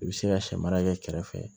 I bɛ se ka sɛ mara kɛ kɛrɛfɛ